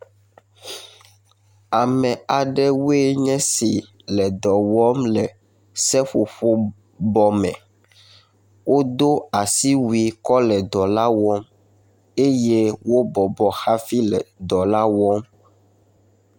Ame aɖewo nye esi le dɔ wɔm le seƒoƒo bɔ me. Wodo asiwui kɔ le dɔ la wɔm eye wobɔbɔ hafi le dɔ la wɔm.